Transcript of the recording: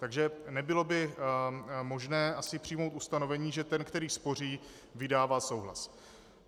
Takže nebylo by možné asi přijmout ustanovení, že ten, který spoří, vydává souhlas.